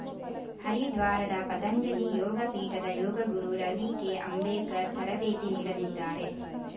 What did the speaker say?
ಹರಿದ್ವಾರದ ಪತಂಜಲಿ ಯೋಗ ಪೀಠದ ಯೋಗಗುರು ರವಿ ಕೆಅಂಬೇಕರ್‌ ತರಬೇತಿ ನೀಡಲಿದ್ದಾರೆ